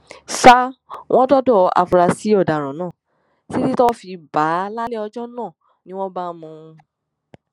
ṣá wọn dọdẹ àfúrásì ọdaràn náà títí tọwọ fi bá a lálẹ ọjọ náà ni wọn bá mú un